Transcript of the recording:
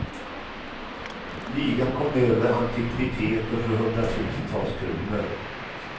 Ligan kom över antikviteter för hundratusentals kronor.